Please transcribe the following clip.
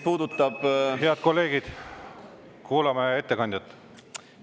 Head kolleegid, kuulame ettekandjat!